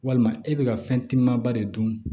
Walima e bɛ ka fɛn timimaba de dun